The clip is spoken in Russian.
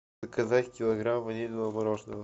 заказать килограмм ванильного мороженого